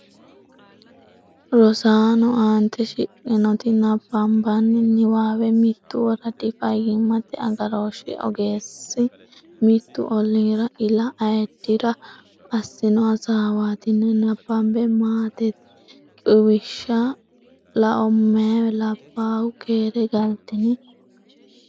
Rosaano, aante shiqqinoti nabbanbanni niwaawe, mittu woradi fayyimmate agarooshshi ogeessi mittu olliira ila ayiddira assino hasaawaatina nabbabbeMaatete Quwishshi Lao Meyaa labbaahu keere galtini?